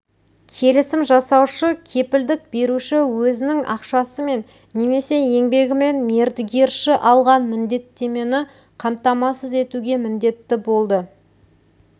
келісім жасаушы кепілдік беруші өзінің ақшасымен немесе еңбегімен мердігерші алған міндеттемені қамтамасыз етуге міндетті болды